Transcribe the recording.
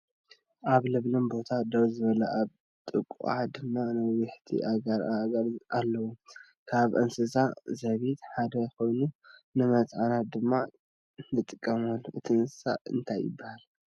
ኣብ ለምለም ቦታ ደው ዝበለ ኣብ ጥቁኣ ድማ ነዋሕቲ ኣግራባት ኣለው። ካብ እንሰሳ ዘቤት ሓደ ኮይኑ ንመፅዓኛ ድማ ንጥቀመሉ። እቲ እንሰሳ እንታይ ይባሃል ?